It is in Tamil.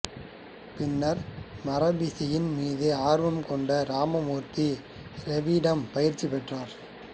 பின்னர் மரபிசையின் மீது ஆர்வம் கொண்டு ராமமூர்த்தி ராவிடம் பயிற்சி பெற்றார்